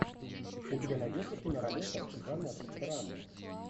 у тебя найдется киноработа жанр драма